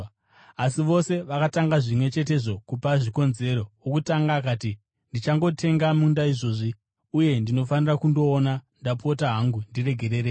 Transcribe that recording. “Asi vose vakatanga zvimwe chetezvo kupa zvikonzero. Wokutanga akati, ‘Ndichangotenga munda izvozvi, uye ndinofanira kundouona. Ndapota hangu, ndiregererei.’